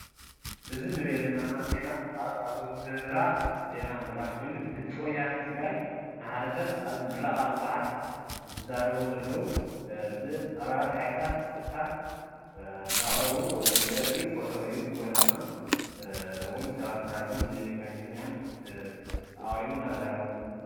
እዚ እንርእዮ ዘለና ድማ ዜና ኣዘወቲረካ ንምሕላፍ ዜና ምሕላፍ ኮይኑ። ብድምፂ ወያነ ትግራይ እናሓለፈ ኣብ ምረቃ መፅሓፍ ዝዛረቡ ዘለዉ ብ ኣባላት ሓይልታት ፀጥታ እናቅረቡ ዘርኢ ፎቶ እዩ:: ብጎኒ ድማ ሰባት ኣለዉ ጋዚጠኛታት ኣቅሪቡ እንዳዛረቦም::